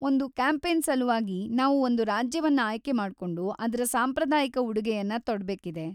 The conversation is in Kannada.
ಒಂದು ಕ್ಯಾಂಪೇನ್‌ ಸಲುವಾಗಿ, ನಾವು ಒಂದು ರಾಜ್ಯವನ್ನ ಆಯ್ಕೆ ಮಾಡ್ಕೊಂಡು ಅದ್ರ ಸಾಂಪ್ರದಾಯಿಕ ಉಡುಗೆಯನ್ನ ತೊಡ್ಬೇಕಿದೆ.